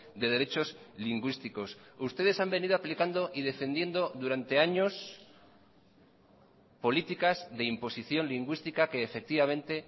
de derechos lingüísticos ustedes han venido aplicando y defendiendo durante años políticas de imposición lingüística que efectivamente